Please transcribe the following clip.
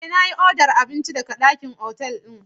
Eh, na yi odar abinci daga ɗakin otal ɗin.